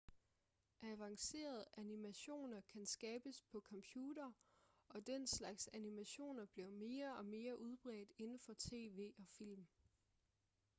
avancerede animationer kan skabes på computere og den slags animationer bliver mere og mere udbredt inden for tv og film